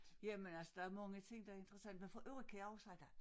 Jamen altså der er mange ting der er interessante og for øvrigt kan jeg huske da